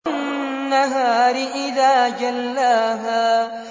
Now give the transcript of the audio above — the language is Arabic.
وَالنَّهَارِ إِذَا جَلَّاهَا